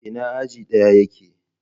Ina aji ɗayan yake?